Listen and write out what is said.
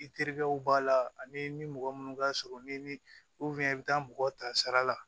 I terikɛw b'a la ani ni mɔgɔ minnu ka surun ni i bɛ taa mɔgɔ ta sara la